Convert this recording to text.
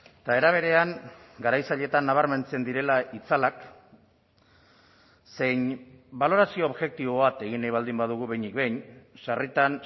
eta era berean garaitzaileetan nabarmentzen direla itzalak zein balorazio objektibo bat egin nahi baldin badugu behinik behin sarritan